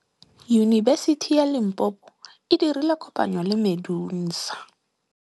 Yunibesiti ya Limpopo e dirile kopanyô le MEDUNSA.